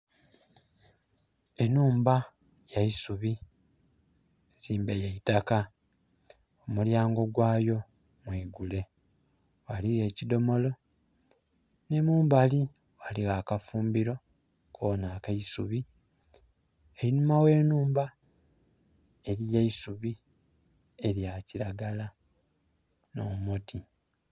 Enhumba ya isubi nzimbe ya itaka omulyango gwayo mwigule, ghaligho ekidhomolo ni mumbali ghaligho akafumbiro kona ka isubi einhuma gh'enumba eriyo eisubi elya kiragala no muti.